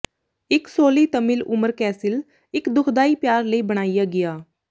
ਇੱਕ ਸੋਲੀ ਤਮਿਲ ਉਮਰ ਕੈਸਿਲ ਇੱਕ ਦੁਖਦਾਈ ਪਿਆਰ ਲਈ ਬਣਾਇਆ ਗਿਆ